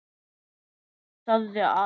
Of seint, sagði Ari.